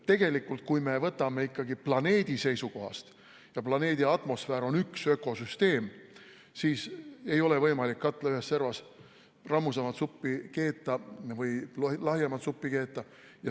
Tegelikult, kui me võtame ikkagi planeedi seisukohast, planeedi atmosfäär on üks ökosüsteem, siis ei ole võimalik katla ühes servas rammusamat või lahjemat suppi keeta.